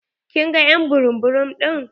Kin ga ƴ'an burum burum ɗin?